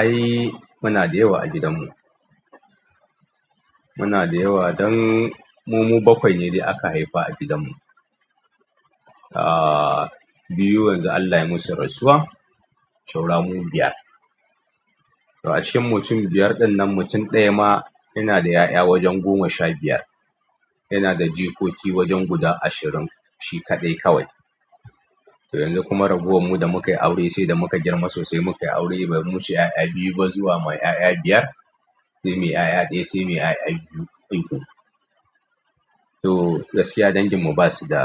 Ai muna da yawa a gidan mu. Muna da yawa dan mu mu bakwai ne da aka haifa a gidan mu. Ah biyu yanzu Allah ya musu rasuwa, saura mu biyar. A cikin mutum biyar dinnan mutum ɗaya ma yana da ƴaƴa wajen goma sha biyar. Yana da jikoki wajen guda ashirin shi kaɗai kawai. Yanzu kuma raguwan mu da muka yi aure sai da muka girma sosai muka yi aure bai mushe ƴaƴa biyu ba zuwa mai ƴaƴa biyar, sai mai ƴaƴa ɗaya sai mai ƴaƴa biyu ko uku. To gaskiya dangin mu basu da